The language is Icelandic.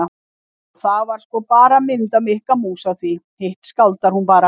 Og það er sko bara mynd af Mikka mús á því, hitt skáldar hún bara.